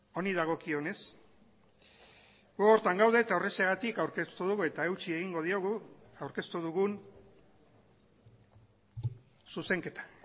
honi dagokionez gu horretan gaude eta horrexegatik aurkeztu dugu eta eutsi egingo diogu aurkeztu dugun zuzenketa